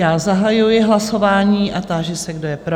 Já zahajuji hlasování a táži se, kdo je pro?